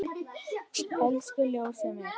Elsku ljósið mitt.